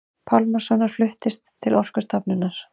Pálmasonar fluttist til Orkustofnunar.